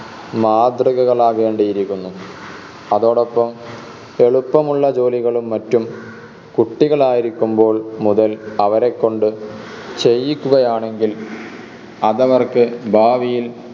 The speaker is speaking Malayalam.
മാതൃകകളാകേണ്ടിയിരിക്കുന്നു അതോടൊപ്പം എളുപ്പമുള്ള ജോലികളും മറ്റും കുട്ടികളായിരിക്കുമ്പോൾ മുതൽ അവരെക്കൊണ്ട് ചെയ്യിക്കുകയാണെങ്കിൽ അതവർക്ക് ഭാവിയിൽ